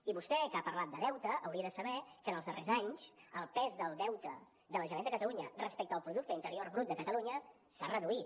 i vostè que ha parlat de deute hauria de saber que en els darrers anys el pes del deute de la generalitat de catalunya respecte al producte interior brut de catalunya s’ha reduït